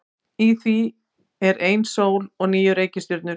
Í því er ein sól og níu reikistjörnur.